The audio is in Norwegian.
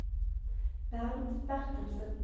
Bernt Bertelsen